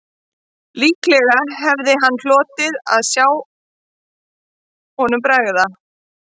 Líklega hefði hann hlotið að sjá honum bregða